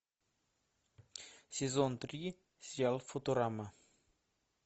сезон три сериал футурама